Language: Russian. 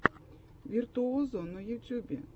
виртуозо на ютюбе